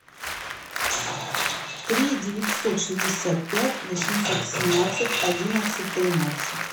три девятьсот шестьдесят пять восемьсот семнадцать одиннадцать тринадцать